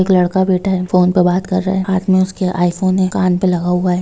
एक लड़का बैठा है फ़ोन पे बात कर रहा है हाथ में उसके आईफोन है कान पे लगा हुआ है।